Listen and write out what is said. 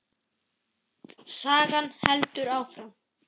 Sagan heldur áfram.